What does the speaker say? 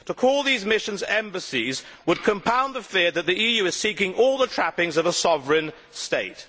To call these missions embassies would compound the fear that the EU is seeking all the trappings of a sovereign state.